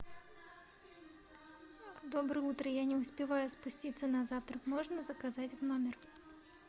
доброе утро я не успеваю спуститься на завтрак можно заказать в номер